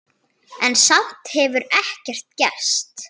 En samt hefur ekkert gerst.